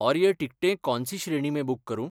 और ये टिकटें कौन सी श्रेणी में बुक करूँ?